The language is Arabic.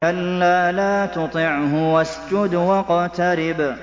كَلَّا لَا تُطِعْهُ وَاسْجُدْ وَاقْتَرِب ۩